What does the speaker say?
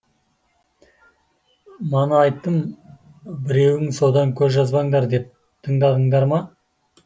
мана айттым біреуін содан көз жазбаңдар деп тыңдадыңдар ма